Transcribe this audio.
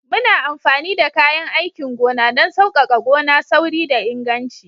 Muna amfani da kayan aikin gona don sauƙaƙa gona, sauri da inganci